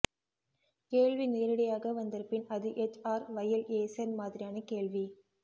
கேள்வி நேரிடையாக வந்திருப்பின் அது எச் ஆர் வயேல்ஏசென் மாதிரியான கேள்வி